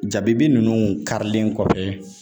Jabibi ninnu karilen kɔfɛ.